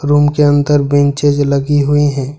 Room के अंदर benches लगी हुई हैं।